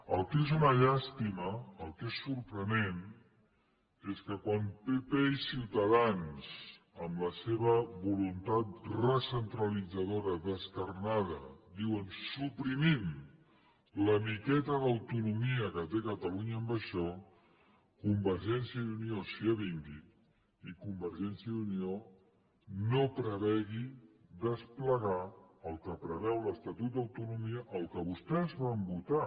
el que és una llàstima el que és sorprenent és que quan pp i ciutadans en la seva voluntat recentralitzadora descarnada diuen suprimim la miqueta d’autonomia que té catalunya en això convergència i unió s’hi avingui i convergència i unió no prevegi desplegar el que preveu l’estatut d’autonomia el que vostès van votar